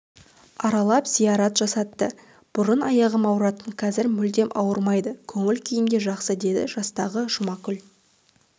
аралатып зиярат жасатты бұрын аяғым ауыратын қазір мүлдем ауырмайды көңіл күйімде жақсы деді жастағы жұмакүл